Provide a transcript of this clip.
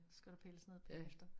Så skulle der pilles ned bagefter